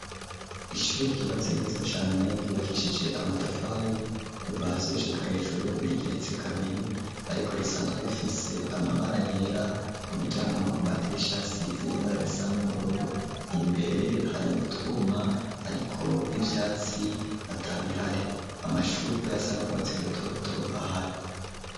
Ishure ryubatse neza cane ryubakishije amatafari kuva hasi gushika hejuru rigeretse kabiri ariko risanzwe rifise amabara yera ku miryango no ku madirisha asize ibara risa n'ubururu imbere hari utwuma ariko n'ivyatsi atabihari, amashugo yasa n'ubwatsi rutoto ahari.